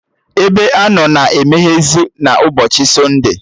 Ebeanọ na emeyezị na ụbọchị sọnde